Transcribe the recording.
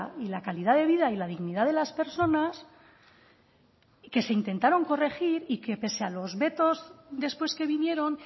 y la calidad de vida y la dignidad de las personas que se intentaron corregir y que pese a los vetos después que vinieron